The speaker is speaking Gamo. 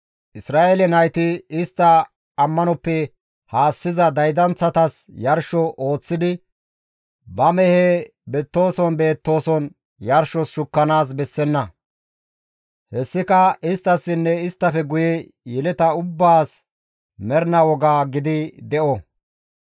Isra7eele nayti istta ammanoppe haassiza daydanththatas yarsho ooththidi ba mehe beettooson beettooson yarshos shukkanaas bessenna; hessika isttassinne isttafe guye yeleta ubbaas mernaa woga gidi de7o.